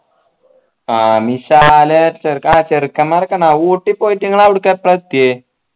ചെറുക്കന്മാരൊക്കെ ഊട്ടി പോയിട്ട് ഇങ്ങള് അവിട്ക്ക് എപ്പ എത്തിയെ